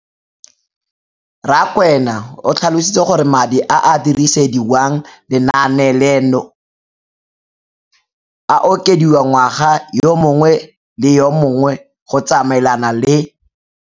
Rakwena o tlhalositse gore madi a a dirisediwang lenaane leno a okediwa ngwaga yo mongwe le yo mongwe go tsamaelana le.